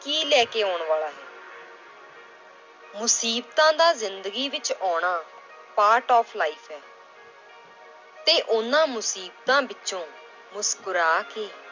ਕੀ ਲੈ ਕੇ ਆਉਣ ਵਾਲਾ ਹੈ ਮੁਸੀਬਤਾਂ ਦਾ ਜ਼ਿੰਦਗੀ ਵਿੱਚ ਆਉਣਾ part of life ਹੈ ਤੇ ਉਹਨਾਂ ਮੁਸੀਬਤਾਂ ਵਿੱਚੋਂ ਮੁਸਕਰਾ ਕੇ